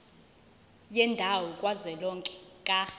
yendawo kazwelonke ka